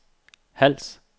Hals